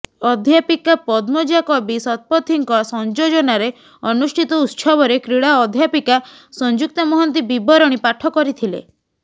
ଅଧ୍ୟାପିକା ପଦ୍ମଜା କବି ଶତପଥୀଙ୍କ ସଂଯୋଜନାରେ ଅନୁଷ୍ଠିତ ଉତ୍ସବରେ କ୍ରୀଡା ଅଧ୍ୟାପିକା ସଂଯୁକ୍ତା ମହାନ୍ତି ବୀବରଣୀ ପାଠ କରିଥିଲେ